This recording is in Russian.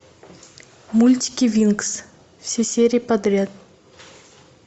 мультики винкс все серии подряд